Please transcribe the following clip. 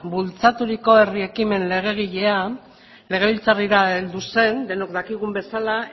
bultzaturiko herri ekimen legegilea legebiltzarrera heldu zen denok dakigun bezala